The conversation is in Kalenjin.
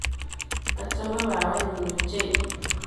Achame babanyu ochei.